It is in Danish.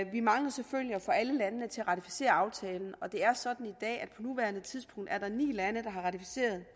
vi mangler selvfølgelig at få alle landene til at ratificere aftalen og det er sådan at der nuværende tidspunkt er ni lande der har ratificeret